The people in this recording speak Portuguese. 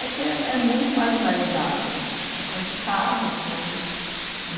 É que é é muito marginalizado, é complicado, sabe?